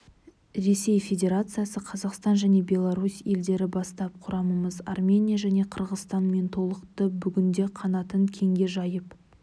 ресей федерациясы қазақстан және беларусь елдері бастап құрамымыз армения және қырғызстанмен толықты бүгінде қанатын кеңге жайып